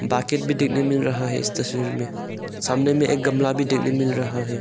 Bucket भी डिगने मिल रहा है इस तस्वीर मे सामने मे एक गमला भी डिगने मिल रहा है।